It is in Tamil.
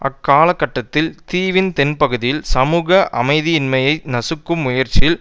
அக்காலகட்டத்தில் தீவின் தென்பகுதியில் சமூக அமைதியின்மையை நசுக்கும் முயற்சியில்